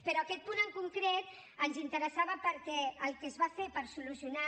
però aquest punt en concret ens interessava perquè el que es va fer per solucionar